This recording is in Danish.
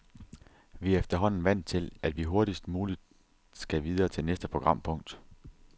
Vi er efterhånden vant til, at vi hurtigst muligt skal videre til næste programpunkt.